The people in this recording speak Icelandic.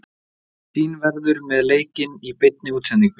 Sýn verður með leikinn í beinni útsendingu.